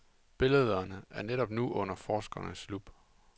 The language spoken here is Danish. Billederne er netop nu under forskernes lup.